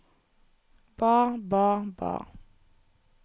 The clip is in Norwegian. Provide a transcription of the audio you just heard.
ba ba ba